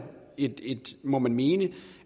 må man mene